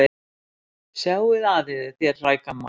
Sjáið að yður þér hrægammar.